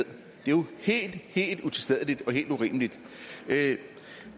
jo helt helt utilstedeligt og helt urimeligt det